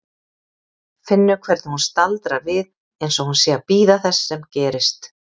Finnur hvernig hún staldrar við einsog hún sé að bíða þess sem gerist.